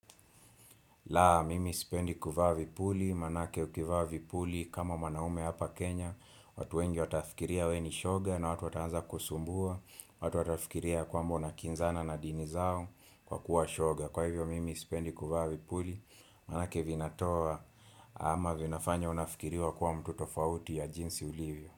La, mimi sipendi kuvaa vipuli, maanake ukivaa vipuli kama mwanaume hapa Kenya watu wengi watafikiria wewe ni shoga na watu wataanza kusumbua watu watafikiria ya kwamba unakinzana na dini zao kwa kuwa shoga Kwa hivyo mimi sipendi kuvaa vipuli, maanake vinatoa ama vinafanya unafikiriwa kuwa mtu tofauti ya jinsi ulivyo.